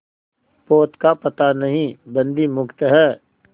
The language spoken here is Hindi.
पोत का पता नहीं बंदी मुक्त हैं